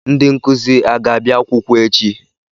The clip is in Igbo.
Ndị nkụzi a ga-abịa akwụkwọ echi?